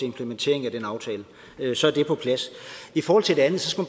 implementering af den aftale så er det på plads i forhold til det andet skal